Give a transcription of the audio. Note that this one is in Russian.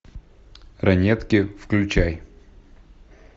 ранетки включай